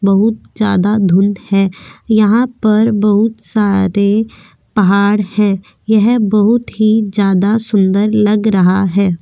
बहुत ज्यादा धुंद है यहाँ पर बहुत सारे पहाड़ है यह बहुत ही ज्यादा सूंदर लग रहा है।